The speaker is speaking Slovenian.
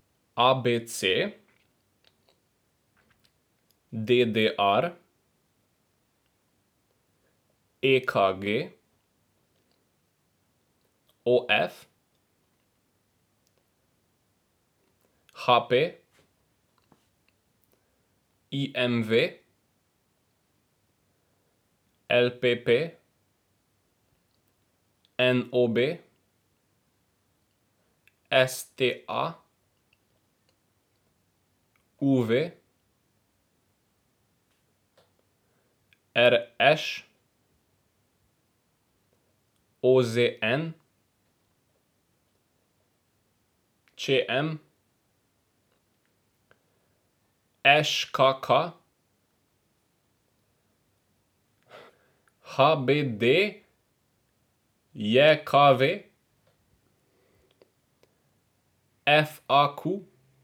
A B C; D D R; E K G; O F; H P; I M V; L P P; N O B; S T A; U V; R Š; O Z N; Č M; Ž K K; H B D J K V; F A Q.